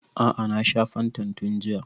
A'a na sha fantan tun jiya